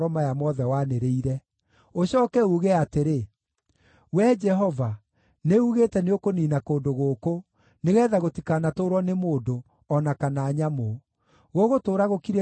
Ũcooke uuge atĩrĩ, ‘Wee Jehova, nĩugĩte nĩũkũniina kũndũ gũkũ, nĩgeetha gũtikanatũũrwo nĩ mũndũ, o na kana nyamũ; gũgũtũũra gũkirĩte ihooru nginya tene.’